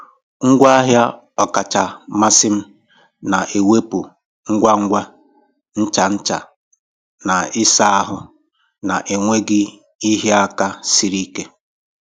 Ngwaahịa ọkacha mmasị m na-ewepụ ngwa ngwa ncha ncha na ịsa ahụ na-enweghị ịhịa aka siri ike.